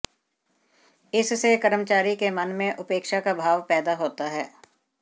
इससे कर्मचारी के मन में उपेक्षा का भाव पैदा होता है